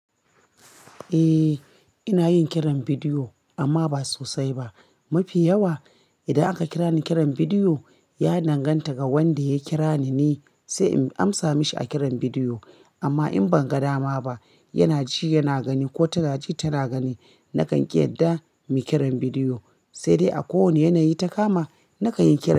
Eh ina yin kiran bidiyo amma ba sosai ba. Mafi yawa idan aka kira ni kiran bidiyo, ya danganta ga wanda ya kira ni ne sai in amsa mashi a kiran bidiyo. Amma in ban ga dama ba yana ji yana gani ko tana ji tana gani. Nakan ƙi yadda mu yi kiran bidiyo, sai dai a kowane yanayi ta kama na kan yi kira.